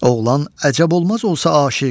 Oğlan əcəb olmaz olsa aşiq,